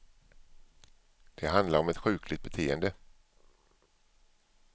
Det handlar om ett sjukligt beteende.